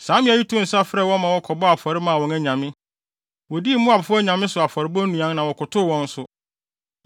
Saa mmea yi too nsa frɛɛ wɔn ma wɔkɔbɔɔ afɔre maa wɔn anyame. Wodii Moabfo anyame so afɔrebɔ nnuan na wɔkotow wɔn nso.